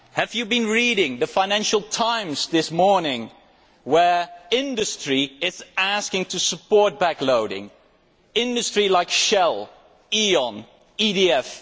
Did you read the Financial Times this morning, where industry is asking to support backloading industries like Shell, Eon and EDF.